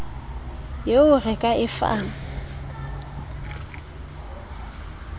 yeo re ka e fang